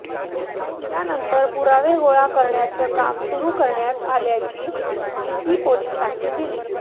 त्यानंतर पुरावे गोळा करण्याचं काम सुरु करण्यात आल्याची माहिती पोलिसांनी दिली